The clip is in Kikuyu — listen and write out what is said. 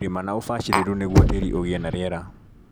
Rĩma na ũbacĩrĩru nĩgũo tĩri ũgie na riera.